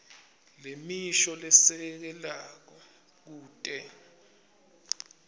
nemisho lesekelako kute